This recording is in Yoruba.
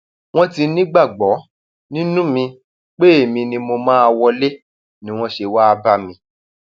wọn ti nígbàgbọ um nínú mi pé èmi um ni mo máa wọlé ni wọn ṣe wàá bá mi